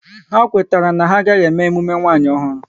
Ha kwetara na ha agaghị eme emume nwanyi ọhụrụ